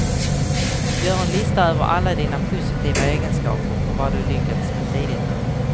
Gör en lista över alla dina positiva egenskaper och vad du lyckats med tidigare.